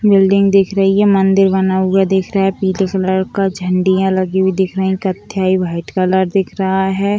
Building दिख रही है मंदिर बना हुआ दिख रहा है पीले कलर का झंडिया लगी हुई दिखाई कत्थई वाइट कलर दिख रहा है।